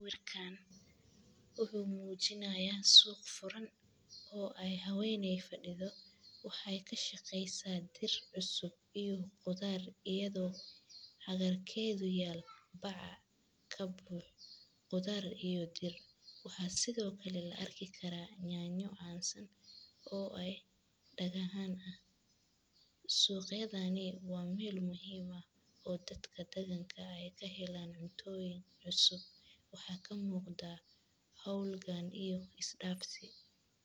Markaan ugu muujinaya suuq furan oo ay hawaynay fadhi do. Waxay ka shaqeysaa dir, cusub iyo qudar, iyadoo xagga keedu yaal bacca ka buux. Qudar iyo dir waxaa sidoo kale la arkki karaa nyañyoo caansan oo ay dhaga haan ah. Suuqyadaani waa meel muhiima oo dadka daganka ay ka heleen cuntooyin cusub. Waxaa ka muuqda howl gaan iyo is dhaafsi.